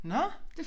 Nåh